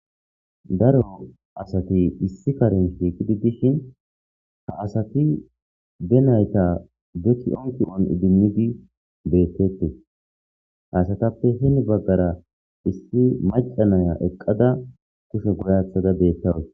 Daro asati issi karen shiikidi dishin ha asati denayta deki ongi'on idimmidi beettetti hasatappe heni baggara issi macanaya eqqada kushe godathada beettawus.